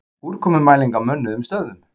Úrkomumæling á mönnuðum stöðvum